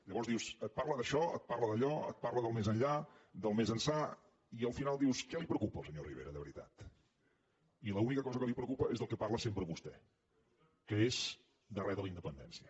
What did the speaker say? llavors dius et parla d’això et parla d’allò et parla del més enllà del més ençà i al final dius què el preocupa al senyor rivera de veritat i l’única cosa que el preocupa és del que parla sempre vostè que és de res de la independència